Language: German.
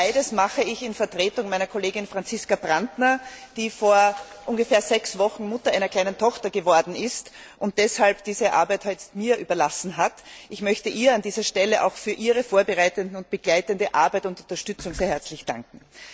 Beides mache ich als Vertreterin meiner Kollegin Franziska Brantner, die vor ungefähr sechs Wochen Mutter einer kleinen Tochter geworden ist und deshalb diese Arbeit heute mir überlassen hat. Ich möchte ihr an dieser Stelle auch für ihre vorbereitende und begleitende Arbeit und Unterstützung sehr herzlich danken.